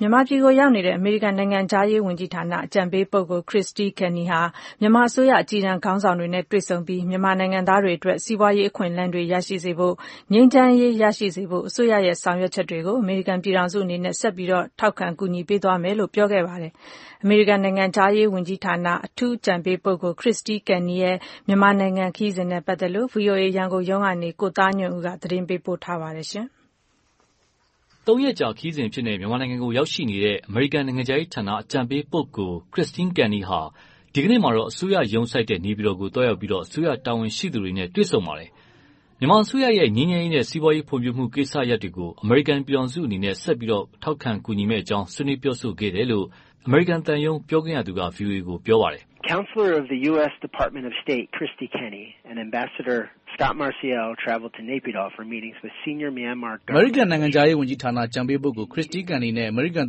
မြန်မာပြည်ကို ရောက်ရှိနေတဲ့ အမေရိကန်နိုင်ငံခြားရေးဝန်ကြီးဌာန အကြံပေးပုဂ္ဂိုလ် Kristie Kenny ဟာ မြန်မာအစိုးရ အကြီးတန်းခေါင်းဆောင်တွေ နဲ့ တွေ့ဆုံပြီး၊ မြန်မာနိုင်ငံသားတွေ အတွက် စီးပွားရေးအခွင့်အလမ်းတွေ ရရှိစေဖို့ ငြိမ်းချမ်းရေး ရရှိစေဖို့ အစိုးရရဲ့ ဆောင်ရွက်ချက်တွေကို အမေရိကန်ပြည်ထောင်စု အနေနဲ့ ဆက်ပြီး ထောက်ခံ ကူညီသွားမယ်လို့ ပြောဆိုခဲ့ပါတယ်။ အမေရိကန်နိုင်ငံခြားရေးဝန်ကြီးဌာန အထူး အကြံပေးပုဂ္ဂိုလ် Kristie Kennyရဲ့ မြန်မာနိုင်ငံ ခရီးစဉ်နဲ့ပတ်သက်လို့တော့ ဗွီအိုအေ ရန်ကုန်ရုံးကနေ ကိုသားညွန့်ဦး သတင်းပေးပို့ထားပါတယ်။ သုံးရက်ကြာခရီးစဉ်အဖြစ်နဲ့ မြန်မာနိုင်ငံကိုရောက်ရှိနေတဲ့ အမေရိကန်နိုင်ငံခြားရေး ဌာန အကြံပေးပုဂ္ဂိုလ် Kristie Kenny ဟာ ဒီကနေ့မှာတော့ အစိုးရ ရုံးစိုက်ရာ နေပြည်တော်ကို သွားရောက်ပြီး အစိုးရ တာဝန်ရှိသူတွေ နဲ့ တွေ့ဆုံပါတယ်။ မြန်မာအစိုးရရဲ့ ငြိမ်းချမ်းရေးနဲ့ စီးပွားရေးဖွံဖြိုးမှု ကိစ္စရပ်တွေကို အမေရိကန်ပြည်ထောင်စု အနေနဲ့ ဆက်ပြီး ထောက်ခံကူညီမယ့် အကြောင်း ဆွေးနွေးပြောဆိုခဲ့တယ်လို့ အမေရိကန်သံရုံး ပြောခွင့်ရသူက ဗွီအိုအေကို ပြောပါတယ်။ “အမေရိကန်နိုင်ငံခြားဝန်ကြီးဌာန အကြံပေးပုဂ္ဂိုလ် Kristie Kenney နဲ့ အမေရိကန်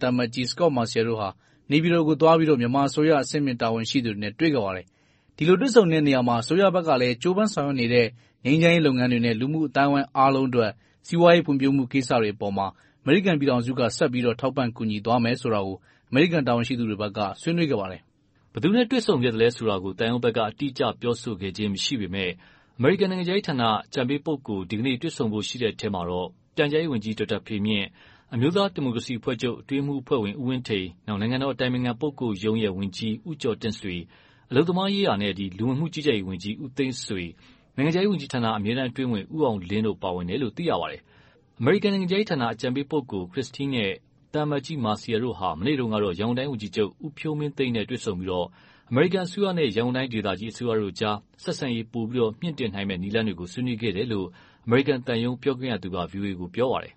သံအမတ်ကြီး Scot Marciel တို့ဟာ နေပြည်တော်ကို သွားရောက်ပြီး မြန်မာအစိုးရ အဆင့်မြင့်တာဝန်ရှိသူတွေနဲ့ တွေ့ဆုံခဲ့ပါတယ်။ ဒီလို တွေ့ဆုံတဲ့နေရာမှာတော့ အစိုးရဘက်က ကြိုးပမ်းဆောင်ရွက်နေတဲ့ ငြိမ်းချမ်းရေးလုပ်ငန်းတွေနဲ့ လူမှုအသိုင်းအဝိုင်း အားလုံးအတွက် စီးပွားရေး ဖွံ့ဖြိုးမှုကိစ္စတွေအပေါ် အမေရိကန်ပြည်ထောင်စုက ဆက်ပြီး ထောက်ခံ ကူညီသွားမယ်ဆိုတာကို အမေရိကန်တာဝန်ရှိသူတွေဘက်က ဆွေးနွေးခဲ့ပါတယ်။” ဘယ်သူနဲ့ တွေ့ဆုံခဲ့သလဲ ဆိုတာကို သံရုံးဘက်က အတိအကျ ပြောဆိုခဲ့ခြင်း မရှိပေမယ့်၊ အမေရိကန်နိုင်ငံခြားရေးဌာန အကြံပေးပုဂ္ဂိုလ် ဒီနေ့ တွေ့ဆုံဖို့ရှိတဲ့ အထဲ ပြန်ကြားရေးဝန်ကြီး ဒေါက်တာဖေမြင့်၊ အမျိုးသားဒီမိုကရေစီအဖွဲ့ချုပ် အတွင်းရေးမှူးအဖွဲ့ဝင် ဦးဝင်းထိန်၊ နိုင်ငံတော် အတိုင်ပင်ခံပုဂ္ဂိုလ်ရုံး ဝန်ကြီး ဦးကျော်တင့်ဆွေ၊ အလုပ်သမားနဲ့ လူဝင်မှုကြီးကြပ်ရေးဝန်ကြီး ဦးသိန်းဆွေ၊ နိုင်ငံခြားရေးဝန်ကြီးဌာန အမြဲတမ်းအတွင်းဝန် ဦးအောင်လင်းတို့ ပါဝင်တယ်လို့ သိရပါတယ်။ အမေရိကန်နိုင်ငံခြားရေးဌာန အကြံပေးပုဂ္ဂိုလ် Kristie နဲ့ သံအမတ်ကြီး Marciel တို့ဟာ မနေ့တုန်းကတော့ ရန်ကုန်တိုင်းဝန်ကြီးချုပ် ဦးဖြိုးမင်းသိန်းနဲ့တွေ့ဆုံပြီး အမေရိကန်အစိုးရနဲ့ ရန်ကုန်တိုင်းဒေသကြီးအစိုးရတို့အကြား ဆက်ဆံရေး ပိုမိုမြှင့်တင်နိုင်မယ့် နည်းလမ်းတွေကို ဆွေးနွေးခဲ့တယ်လို့လည်း အမေရိကန် သံရုံး ပြောခွင့်ရသူက ဗွီအိုအေကို ပြောပါတယ်။ “အမေရိကန်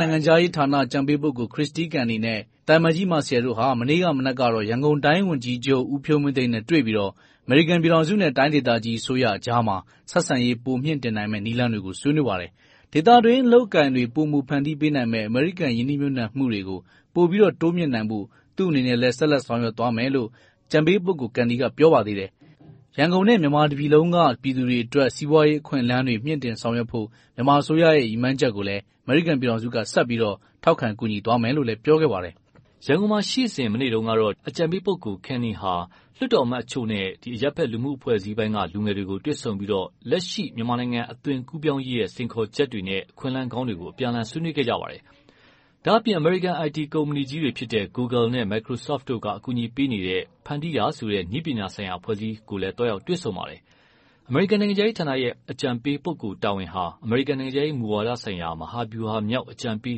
နိုင်ငံခြားရေးဌာန အကြံပေးပုဂ္ဂိုလ် Kristie Kenny နဲ့ သံအမတ်ကြီး Marciel တို့ဟာ မနေ့မနက်ကတော့ ရန်ကုန်တိုင်းဝန်ကြီးချုပ် ဦးဖြိုးမင်းသိန်း နဲ့ တွေ့ပြီး အမေရိကန်ပြည်ထောင်စုနဲ့ တိုင်းဒေသကြီးအစိုးရအကြား ဆက်ဆံရေး ပိုမြှင့်တင်နိုင်မယ့် နည်းလမ်းတွေကို ဆွေးနွေးပါတယ်။ ဒေသတွင်း အလုပ်အကိုင်တွေ ပိုမိုဖန်တီးပေးနိုင်မယ့် အမေရိကန်ရင်းနှီးမြုပ်နှံမှုတွေ ပို တိုးမြှင့်နိုင်ဖို့ သူ့အနေနဲ့ ဆက်လက် ဆောင်ရွက်သွားမယ်လို့လည်း အကြံပေးပုဂ္ဂိုလ် Kenny က ပြောခဲ့ပါတယ်။ ရန်ကုန်နဲ့ မြန်မာတပြည်လုံးက ပြည်သူတွေအတွက် စီးပွားရေးအခွင့်အလမ်းတွေ မြှင့်တင်ဆောင်ရွက်ဖို့ မြန်မ်ာအစိုးရရဲ့ ရည်မှန်းချက်ကိုလည်း အမေရိကန်ပြည်ထောင်စုက ဆက်ပြီး ထောက်ခံ ကူညီသွားမယ်လို့ ပြောခဲ့ပါတယ်။” ရန်ကုန်မှာရှိစဉ် မနေ့တုန်းကတော့ အကြံပေးပုဂ္ဂိုလ် Kenny ဟာ လွှတ်တော်အမတ် အချို့နဲ့ အရပ်ဖက်လူမှုအဖွဲ့အစည်းပိုင်းက လူငယ်တွေကို တွေ့ဆုံပြီး လက်ရှိ မြန်မာနိုင်ငံ အသွင်ကူးပြောင်းရေးရဲ့ စိန်ခေါ်ချက်တွေနဲ့ အခွင့်အလမ်းကောင်းတွေကို အပြန်အလှန်ဆွေးနွေးခဲ့ပါတယ်။ ဒါ့အပြင် အမေရိကန် IT ကုမ္ပဏီကြီးတွေဖြစ်တဲ့ ဂိုလ်ဂယ်နဲ့ မက်ကရိုဆော့ဖ်တို့က အကူအညီပေးနေတဲ့ ဖန်တီးရာဆိုတဲ့ နည်းပညာဆိုင်ရာအဖွဲ့အစည်းနဲ့လည်း သွားရောက်တွေ့ဆုံပါတယ်။ အမေရိကန်နိုင်ငံခြားရေးဌာနရဲ့ အကြံပေးပုဂ္ဂိုလ်တာဝန်ဟာ အမေရိကန်နိုင်ငံခြားရေး မူဝါဒဆိုင်ရာ မဟာဗျူဟာမြောက်အကြံပေး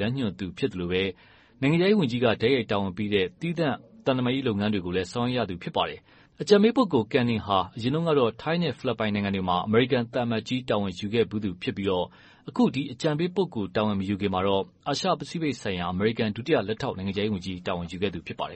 လမ်းညွှန်သူဖြစ် သလို၊ နိုင်ငံခြားရေးဝန်ကြီးက တိုက်ရိုက်တာဝန်ပေးတဲ့ သီးသန့် သံတမန်ရေးလုပ်ငန်းတွေကို ဆောင်ရွက်ရသူဖြစ်ပါတယ်။ အကြံပေးပုဂ္ဂိုလ် Kenny ဟာ အရင်တုန်းကတော့ ထိုင်းနဲ့ ဖိလစ်ပိုင်နိုင်ငံတွေမှာ အမေရိကန်သံအမတ်ကြီး တာဝန်ယူခဲ့သူဖြစ်ပြီး၊ အခု အကြံပေးပုဂ္ဂိုလ်တာဝန်မယူခင်မှာတော့ အာရှ ပစိဖိတ်ဆိုင်ရာ အမေရိကန် ဒုတိယလက်ထောက်နိုင်ငံခြားရေးဝန်ကြီး တာဝန်ယူခဲ့သူဖြစ်ပါတယ်